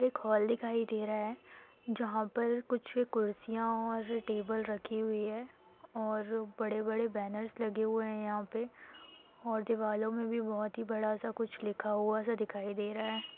एक हॉल दिखाई दे रहा है जहा पर कुछ कुर्सिया और टेबल रखी हुई है और बड़े बड़े बैनर्स लगे हुए है यहा पे और दिवालो में भी बहुत ही बड़ा सा कुछ लिखा हुआ सा दिखाई दे रहा है।